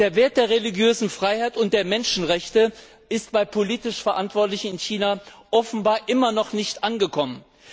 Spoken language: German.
Der Wert der religiösen Freiheit und der Menschenrechte ist bei den politisch Verantwortlichen in China offenbar noch immer nicht angekommen.